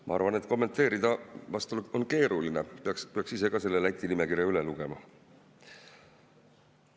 Ma arvan, et kommenteerida vast on keeruline, peaks ise ka selle Läti nimekirja üle lugema.